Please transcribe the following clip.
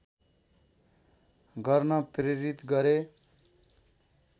गर्न प्रेरित गरे